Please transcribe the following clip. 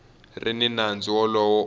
ri ni nandzu wolowo u